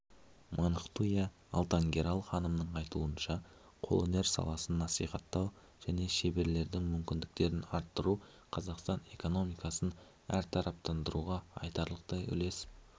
мунхтуя алтангерел ханымның айтуынша қолөнер саласын насихаттау және шеберлердің мүмкіндіктерін арттыру қазақстан экономикасын әртараптандыруға айтарлықтай үлес